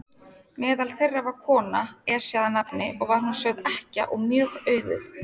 Meðal þeirra var kona, Esja að nafni, og var hún sögð ekkja og mjög auðug.